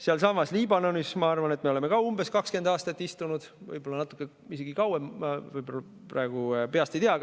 Sealsamas Liibanonis, ma arvan, oleme me ka umbes 20 aastat istunud, võib-olla isegi natuke kauem, ma praegu peast ei tea.